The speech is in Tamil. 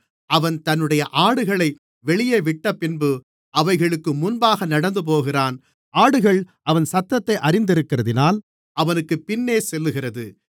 அவன் தன்னுடைய ஆடுகளை வெளியே விட்டபின்பு அவைகளுக்கு முன்பாக நடந்துபோகிறான் ஆடுகள் அவன் சத்தத்தை அறிந்திருக்கிறதினால் அவனுக்குப் பின்னே செல்லுகிறது